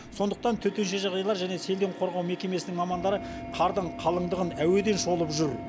сондықтан төтенше жағдайлар және селден қорғау мекемесінің мамандары қардың қалыңдығын әуеден шолып жүр